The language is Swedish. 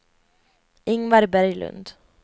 Ingvar Berglund